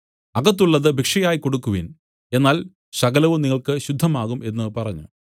അകത്തുള്ളത് ഭിക്ഷയായി കൊടുക്കുവിൻ എന്നാൽ സകലവും നിങ്ങൾക്ക് ശുദ്ധം ആകും എന്നു പറഞ്ഞു